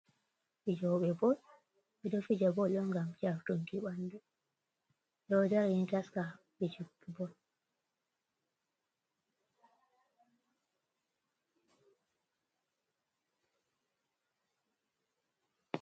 Fijoɓe bol ɓeɗo fija bol ɗo ngam jartunki ɓandu ɗo darin taska fijugo bol.